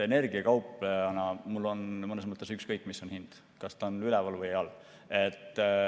Energiakauplejana on mul mõnes mõttes ükskõik, mis on hind, kas ta on üleval või all.